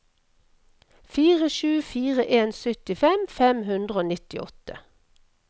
fire sju fire en syttifem fem hundre og nittiåtte